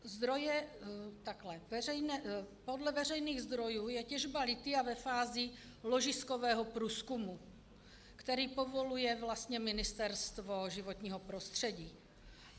Podle veřejných zdrojů je těžba lithia ve fázi ložiskového průzkumu, který povoluje vlastně Ministerstvo životního prostředí.